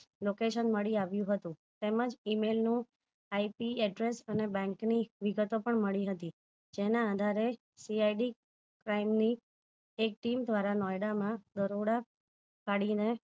location મળી આવ્યુંહતું તેમજ email નું IP address બેંક ની વિગતો પણ મળી હતી જેના આધારે CID crime એ એક team દ્વારા નોયડા માં દરોડા પાડીને